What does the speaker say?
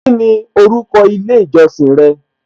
Kíni orúkọ ilé ìjọsìn rẹ?